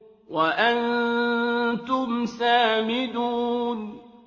وَأَنتُمْ سَامِدُونَ